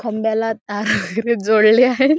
खंब्याला तारा वैगेरे जोडल्या आहेत.